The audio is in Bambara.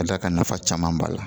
Ka d'a kan nafa caman b'a la